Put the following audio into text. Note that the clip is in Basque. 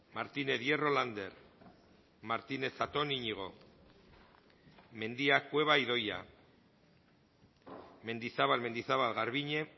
martínez hierro lander martínez zatón iñigo mendia cueva idoia mendizabal mendizabal garbiñe